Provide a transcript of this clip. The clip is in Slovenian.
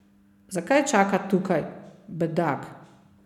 Zakaj čaka tukaj, bedak?